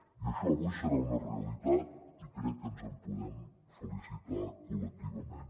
i això avui serà una realitat i crec que ens en podem felicitar col·lectivament